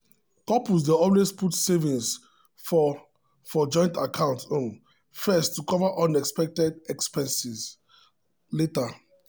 couples dey always put saving for for joint account um first to cover unexpected um expenses um later.